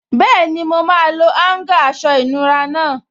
Bẹ́ẹ̀ni, mo máa lo áúngà aṣọ ìnura náà